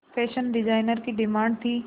fashion designer की demand थी